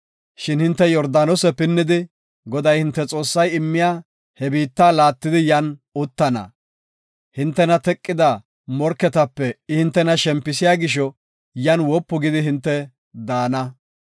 Shin hinte Yordaanose pinnidi, Goday hinte Xoossay immiya he biitta laattidi yan uttana. Hintena teqida morketape I hintena shempisiya gisho yan wopu gidi hinte daana.